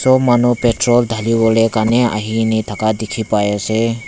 aro manu petrol dhaliwolae karne ahine thaka dikhipaiase.